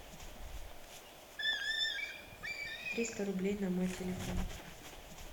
триста рублей на мой телефон